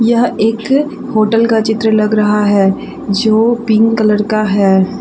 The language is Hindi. यह एक होटल का चित्र लग रहा है जो पिंक कलर का है।